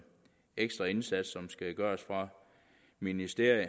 ekstra indsats fra ministeriet